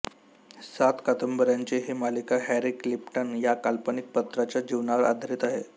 सात कादंबऱ्यांची ही मालिका हॅरी क्लिफ्टन या काल्पनिक पात्राच्या जीवनावर आधारित आहे